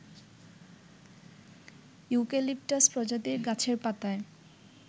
eucalyptus প্রজাতির গাছের পাতায়